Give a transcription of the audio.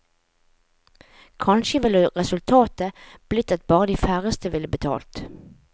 Kanskje ville resultatet blitt at bare de færreste ville betalt.